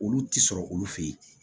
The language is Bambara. Olu ti sɔrɔ olu fe ye